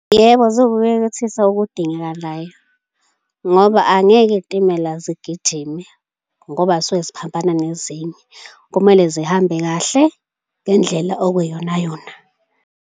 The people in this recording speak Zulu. Yebo, ziwukuyekethisa okudingekalayo ngoba angeke iy'timela zigijime ngoba zisuke ziphambana nezinye. Kumele zihambe kahle ngendlela okuyiyonayona.